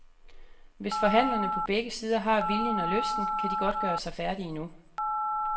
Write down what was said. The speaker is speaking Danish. Hvis forhandlerne på begge sider har viljen og lysten, kan de godt gøre sig færdige nu.